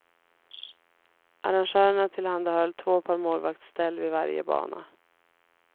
Arrangörerna tillhandahöll två par målvaktsställ vid varje bana.